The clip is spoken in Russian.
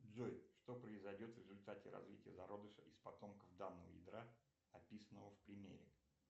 джой что произойдет в результате развития зародыша из потомков данного ядра описанного в примере